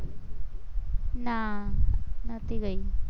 ના નતી ગઈ